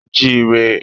A jí i rẹ.